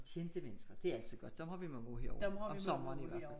Kendte mennesker det altid godt dem har vi mange af herovre om sommeren i hvert fald